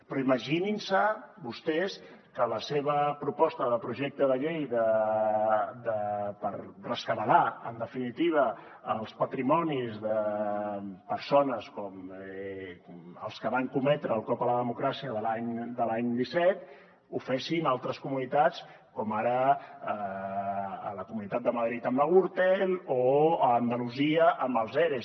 però imaginin se vostès que la seva proposta de projecte de llei per rescabalar en definitiva els patrimonis de persones com els que van cometre el cop a la democràcia de l’any disset la fessin altres comunitats com ara la comunitat de madrid amb la gürtel o andalusia amb els eres